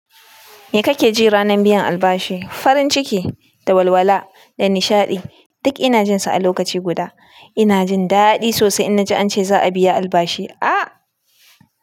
Me kake ji ranar biyan albashi? Farin ciki da walwala da nishadi. Duk ina jin su a lokaci guda. Ina jin daɗi sosai in na ji an ce za a biya albashi. Aaa!